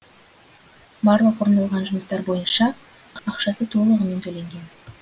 барлық орындалған жұмыстар бойынша ақшасы толығымен төленген